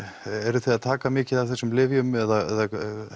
eruð þið að taka mikið af þessum lyfjum eða